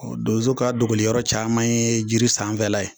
donzo ka dogo yɔrɔ caman ye jiri sanfɛla ye.